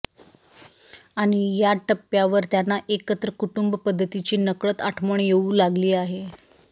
आणि या टप्प्यावर त्यांना एकत्र कुटुंब पद्धतीची नकळत आठवण येऊ लागली आहे